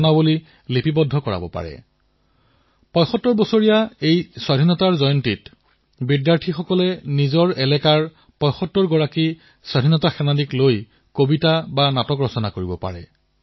কোনো বিদ্যালয়ৰ শিক্ষাৰ্থীসকলে যদি এই সিদ্ধান্ত লয় যে স্বাধীনতাৰ ৭৫তম বৰ্ষত নিজৰ স্থানৰ স্বাধীনতাৰ ৭৫জন নায়কক লৈ কবিতা লিখিম নাট্য কথা ৰচনা কৰিম